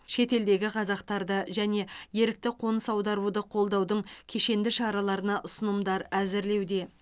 шетелдегі қазақтарды және ерікті қоныс аударуды қолдаудың кешенді шараларына ұсынымдар әзірлеуде